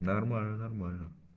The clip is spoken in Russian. нормально нормально